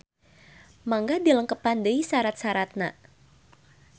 Mangga dilengkepan deui sarat-saratna